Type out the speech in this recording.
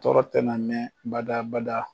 Tɔɔrɔ tɛna mɛɛn bada bada.